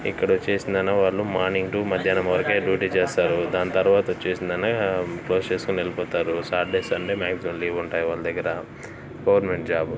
ఇక్కడ వచ్చేసిన morning to మధ్యాహ్నం వరకే డ్యూటీ చేస్తారుదాని తర్వాత వచ్చేసిన ఫ్రెష్ చేసుకుని వెళ్ళిపోతారుసాటర్డే సండే మ్యాగ్జిమం లీవ్ ఉంటాయివాళ్ళ దగ్గర గవర్నమెంట్ జాబ్.